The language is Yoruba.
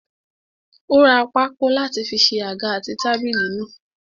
Ó ra pákó láti fi ṣe àga àti tábìlì náà.